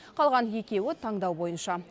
қалған екеуі таңдау бойынша